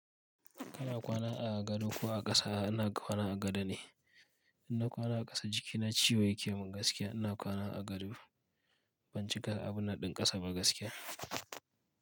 Kana kwana a gado ko a ƙasa? Ina kwana a gado ne. Inna kwana a ƙasa jikina ciwo yake min gaskiya. Ina kwana a gado ban cika abun nan ɗin ƙasa ba gaskiya.